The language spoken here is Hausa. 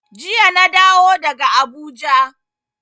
Jiya na dawo daga Abuja.